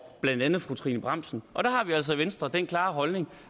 blandt andet fru trine bramsen og der har vi altså i venstre den klare holdning